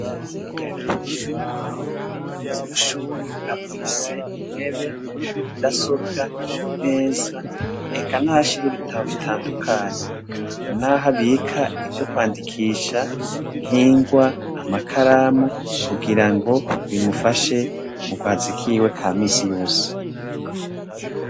Ishure ritoya rya Kigwena, umuyobozi w'ishuri afise intebe, mudasobwa, imeza, eka naho ashira ibitabo bitandukanye, naho abika ivyo kwandikisha, nk'ingwa, amakaramu, kugira ngo bimufashe mu kazi kiwe ka misi yose.